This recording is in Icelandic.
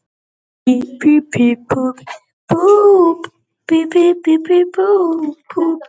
Varla er hann afbrýðisamur?